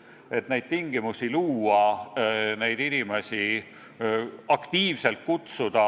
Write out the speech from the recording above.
Selleks, et vajalikke tingimusi luua, neid inimesi aktiivselt tagasi kutsuda,